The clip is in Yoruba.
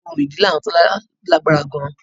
Orò ìdílé àwọn Tọ́lá lágbára gan-an